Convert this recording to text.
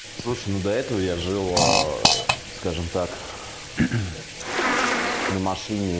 слушай ну до этого я жил аа скажем так на машине